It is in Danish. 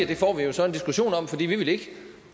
det får vi jo så en diskussion om for vi vil ikke